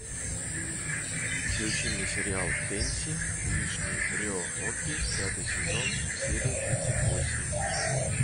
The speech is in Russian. включи мне сериал тэнти лишний ре о ки пятый сезон серия тридцать восемь